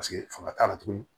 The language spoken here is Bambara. Paseke fanga t'a la tugun